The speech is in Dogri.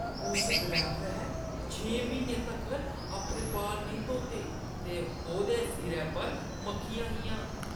उस ड्राइवरै छें म्हीनें तक्कर अपने बाल नेईं धोते ते ओह्दे सिरै पर मक्खियां हियां।